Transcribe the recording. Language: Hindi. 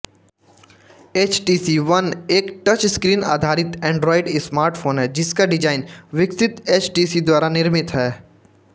एचटीसी वन एक टचस्क्रीन आधारित एंड्रॉयड स्मार्टफोन है जिसका डिजाइन विकसित एचटीसी द्वारा निर्मित है